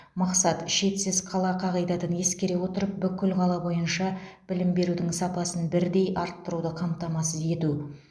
мақсат шетсіз қала қағидатын ескере отырып бүкіл қала бойынша білім берудің сапасын бірдей арттыруды қамтамасыз ету